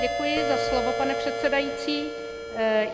Děkuji za slovo, pane předsedající.